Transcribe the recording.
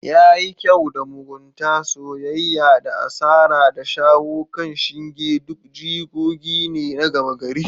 Yayi kyau da. mugunta, soyayya da asara, da shawo kan shinge duk jigogi ne na gama gari.